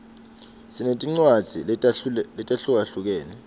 sinetincwadzi letahlukahlukene